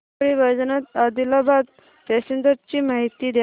Parli Vaijnath Adilabad passenger ची माहिती द्या